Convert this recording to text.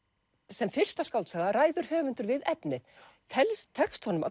sem fyrsta skáldsaga ræður höfundur við efnið tekst tekst honum